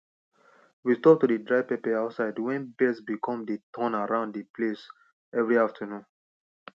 we stop to dry pepper outside wen birds become dey turn around dey place every afternoon